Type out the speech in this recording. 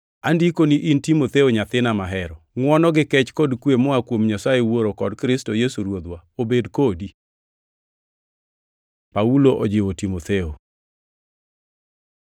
Andikoni in Timotheo nyathina mahero: Ngʼwono gi kech kod kwe moa kuom Nyasaye Wuoro kod Kristo Yesu Ruodhwa obed kodi. Paulo ojiwo Timotheo